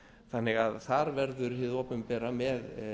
þannig að þar verður hið opinbera með